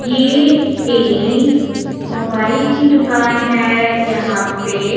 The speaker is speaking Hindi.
ये एक मोबाइल की दुकान है यहां पे--